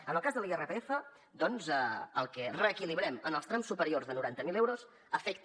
en el cas de l’irpf doncs el que reequilibrem en els trams superiors de noranta mil euros afecta